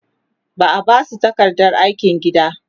za'a Basu takardar aikin gida